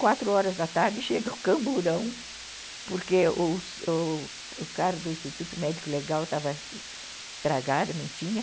Quatro horas da tarde chega o camburão, porque o cara do Instituto Médico Legal estava estragado, não tinha.